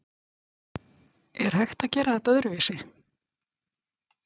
Er hægt að gera þetta öðruvísi?